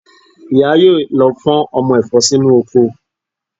Ìyá yóò lọ fọ́n ọmọ ẹ̀fọ́ sínú oko